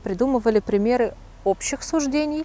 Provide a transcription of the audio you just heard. придумывали примеры общих суждений